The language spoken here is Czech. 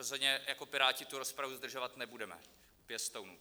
Rozhodně jako Piráti tu rozpravu zdržovat nebudeme - pěstounů.